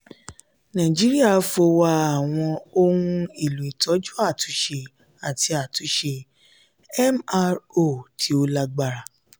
"naijiria fowa awọn ohun elo itọju atunṣe ati atunṣe (mro) ti o lagbara."